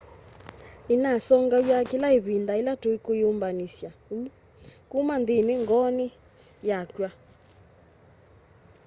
ninasongaw'a kila ivinda ila tukwiyumbanisya uu kuma nthini ngooni yakwa